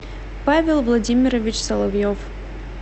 павел владимирович соловьев